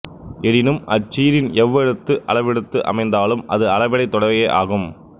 எனினும் அச் சீரின் எவ்வெழுத்து அளபெடுத்து அமைந்தாலும் அது அளபெடைத் தொடையே ஆகும்